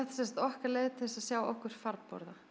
sem sagt okkar leið til að sjá okkur farborða